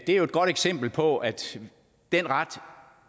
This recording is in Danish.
er jo et godt eksempel på at den ret